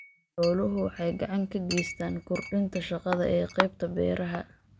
Xooluhu waxay gacan ka geystaan ??kordhinta shaqada ee qaybta beeraha.